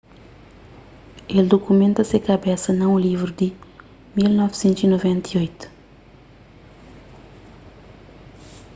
el dukumenta se kabesa na un livru di 1998